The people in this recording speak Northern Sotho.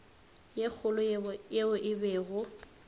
ye kgolo yeo e bego